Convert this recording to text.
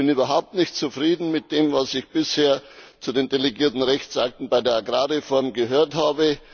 Ich bin überhaupt nicht zufrieden mit dem, was ich bisher zu den delegierten Rechtsakten bei der Agrarreform gehört habe.